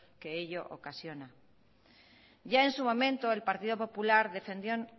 que ello ocasiona ya en su momento el partido popular defendió